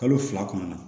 Kalo fila kɔnɔna na